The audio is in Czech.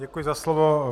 Děkuji za slovo.